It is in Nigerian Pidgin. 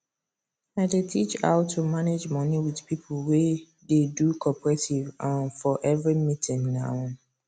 i dey teach how to manage money with pipo wey dey do cooperative um for every meeting um